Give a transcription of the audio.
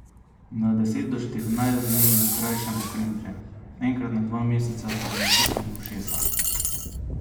Na deset do štirinajst dni jim krajšamo kremplje, enkrat na dva meseca pa jim očistimo ušesa.